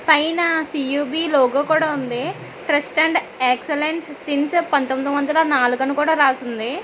పైనా C U B logo కూడా ఉంది ట్రస్ట్ అండ్ ఎక్సలెన్స్ సీన్స్ పంతొమ్మిది వందల నాలుగు అని కూడా రాసుంది.